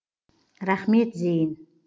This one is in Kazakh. рахмет зейін